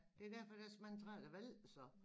Det derfor der så mange træer der vælter så